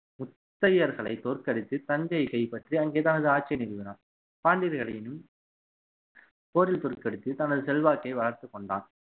முத்தையர்களை தோற்கடித்து தஞ்சையை கைப்பற்றி அங்கே தனது ஆட்சியை நிறுவினார் பாண்டியர்களையும் போரில் தோற்கடித்து தனது செல்வாக்கை வளர்த்துக் கொண்டான்